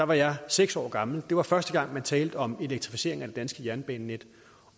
var jeg seks år gammel det var første gang man talte om elektrificering af det danske jernbanenet